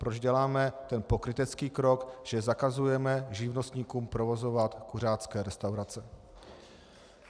Proč děláme ten pokrytecký krok, že zakazujeme živnostníkům provozovat kuřácké restaurace?